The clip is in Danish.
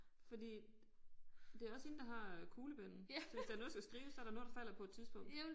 Fordi det også hende der har øh kuglepennen så hvis der noget der skal skrives så der også noget der falder på et tidspunkt